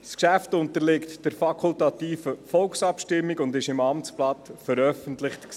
Das Geschäft unterliegt der fakultativen Volksabstimmung und wurde im Amtsblatt veröffentlicht.